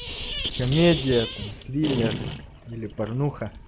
комедия там триллер или порнуха